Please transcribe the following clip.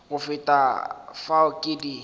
go feta fao ke di